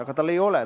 Aga tal ei ole.